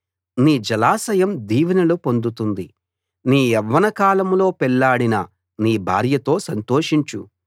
నీ జలాశయం దీవెనలు పొందుతుంది నీ యవ్వన కాలంలో పెళ్ళాడిన నీ భార్యతో సంతోషించు